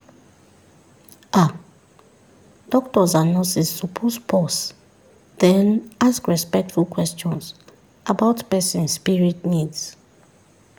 ah doctors and nurses suppose pause then ask respectful questions about person spirit needs.